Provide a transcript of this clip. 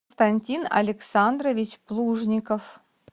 константин александрович плужников